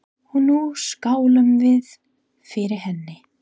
Og nú skálum við fyrir henni.